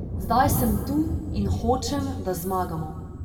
Zdaj sem tu in hočem, da zmagamo.